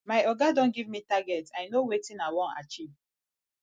my oga don give me target i know wetin i wan achieve